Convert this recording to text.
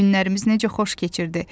Günlərimiz necə xoş keçirdi.